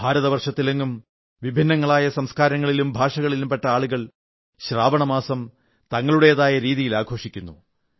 ഭാരതവർഷത്തിലെങ്ങും വിഭിന്നങ്ങളായ സംസ്കാരത്തിലും ഭാഷകളിലും പെട്ട ആളുകൾ ശ്രാവണമാസം തങ്ങളുടേതായ രീതികളിൽ ആഘോഷിക്കുന്നു